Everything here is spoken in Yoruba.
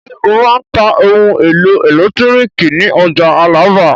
Ṣé ó máa ń ta ohun-èlò ẹ̀lẹ́tíríkì ní ọjà Alábà?